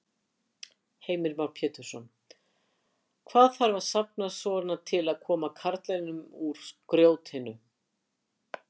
Heimir Már Pétursson: Hvað þarf að safna svona til að koma karlinum úr grjótinu?